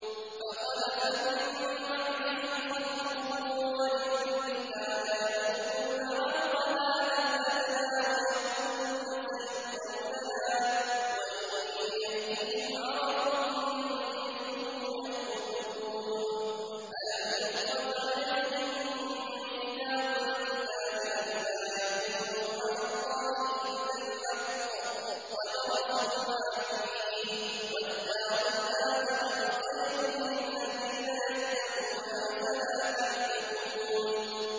فَخَلَفَ مِن بَعْدِهِمْ خَلْفٌ وَرِثُوا الْكِتَابَ يَأْخُذُونَ عَرَضَ هَٰذَا الْأَدْنَىٰ وَيَقُولُونَ سَيُغْفَرُ لَنَا وَإِن يَأْتِهِمْ عَرَضٌ مِّثْلُهُ يَأْخُذُوهُ ۚ أَلَمْ يُؤْخَذْ عَلَيْهِم مِّيثَاقُ الْكِتَابِ أَن لَّا يَقُولُوا عَلَى اللَّهِ إِلَّا الْحَقَّ وَدَرَسُوا مَا فِيهِ ۗ وَالدَّارُ الْآخِرَةُ خَيْرٌ لِّلَّذِينَ يَتَّقُونَ ۗ أَفَلَا تَعْقِلُونَ